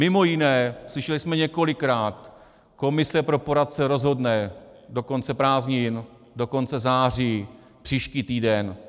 Mimo jiné slyšeli jsme několikrát: komise pro poradce rozhodne do konce prázdnin, do konce září, příští týden.